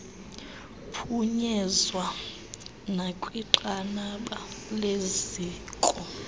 phunyezwa nakwinqanaba leziko